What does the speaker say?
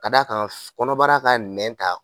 Ka d'a kan kɔnɔbara ka nɛn ta